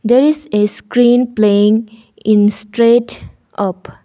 There is a screen playing in straight up.